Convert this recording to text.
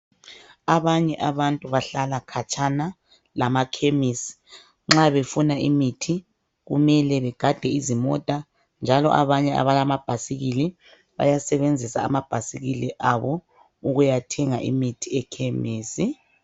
Abanye abantu bahla katshana lama khemisi nxa befuna imithi kume begade izimota njalo abalama bhasikili banya sebenzisa amabhasikili wabo ukuya thenga imithii ekhemisi